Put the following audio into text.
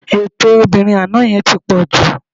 Ètè obìnrin àná yẹn ti pọ̀ jù